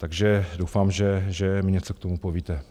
Takže doufám, že mi něco k tomu povíte.